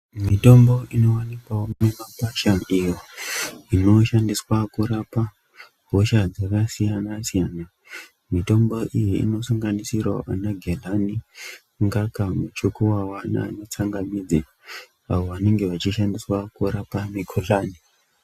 Mitombo inoonekwawo mumakwasha inoshandiswa kurapa hosha dzakasiyana siyana mitombo iyi inosanganisirawo magehlani ngaka muchukuwawa Nana tsanga midzi awo anenge achishandiswa kurapa mukuhlani.